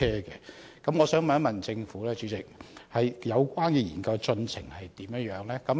主席，我想問政府，有關研究的進度如何？